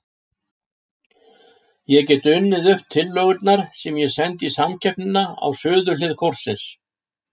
Ég get unnið upp tillögurnar sem ég sendi í samkeppnina í suðurhlið kórsins.